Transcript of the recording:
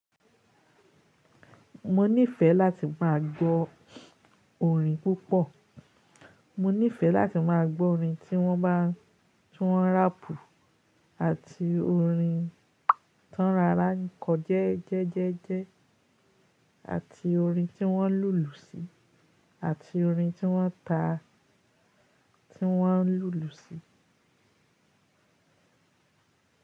Mo nífẹ́ láti má a gbọ́ orin púpọ̀. Mo nífẹ́ láti má a gbọ́ orin tí wọ́n bá ń, tí wọ́n ráàpù àti orin tánrarankọ jẹ́ẹ́jẹ́jẹ́jẹ́ àti orin tí wọ́n lùlù sí àti orin tí wọ́n ta tí wọ́n ń lùlù sí.